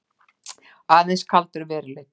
Aðeins kaldur veruleikinn.